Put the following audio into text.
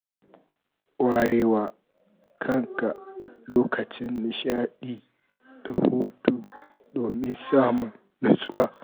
Warewa kan ka lokacin nishaɗi da hutu domin samun nutsuwa.